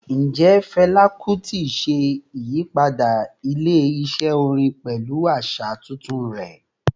Njẹ Fẹla Kuti ṣe iyipada ile-iṣẹ orin pẹlu aṣa tuntun rẹ?